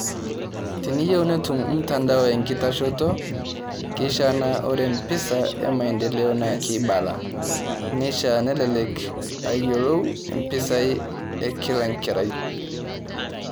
Tiniyeu netum mtandao enkitashoto, keishaa naa ore mpisa emaendeleo naa keibala, neishaa nelelek ayiolou impisai e kila enkerai.